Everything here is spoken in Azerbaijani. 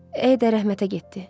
Ey də rəhmətə getdi.